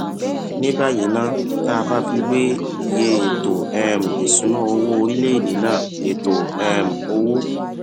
ní báyìí ná tá a bá fi wé iye ètò um ìṣúnná owó orílèèdè náà ètò um owó